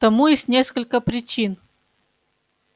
тому есть несколько причин